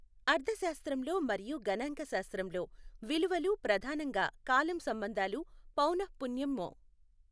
అర్థశాస్త్రంలో మరియు గణాంక శాస్త్రంలో విలువలు ప్రధానంగా కాలం సంబంధాలు పౌనఃపున్యం మొ।